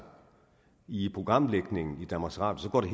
i programlægningen i danmarks radio går det